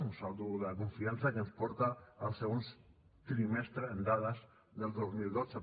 un saldo de confiança que ens porta al segon trimestre en dades del dos mil dotze